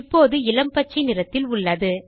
இப்போது இளம் பச்சை நிறத்தில் உள்ளது